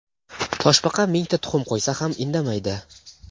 Toshbaqa mingta tuxum qo‘ysa ham indamaydi.